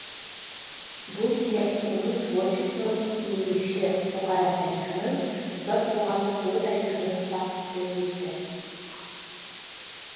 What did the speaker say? бұл жәйт оның творчествосын енбекші бұқара тарихының озат қоғамдық ой тарихының фактісі етті